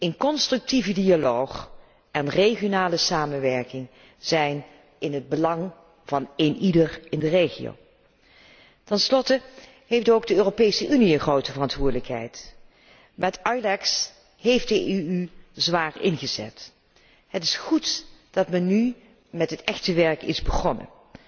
Een constructieve dialoog en regionale samenwerking zijn in het belang van eenieder in de regio. Ten slotte heeft ook de Europese Unie een grote verantwoordelijkheid. Met EULEX heeft de Europese Unie zwaar ingezet. Het is goed dat men nu met het echte werk is begonnen.